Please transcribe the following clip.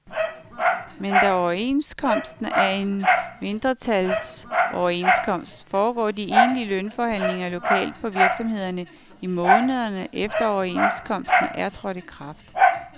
Men da overenskomsten er en mindstebetalingsoverenskomst, foregår de egentlige lønforhandlinger lokalt på virksomhederne i månederne efter overenskomsten er trådt i kraft.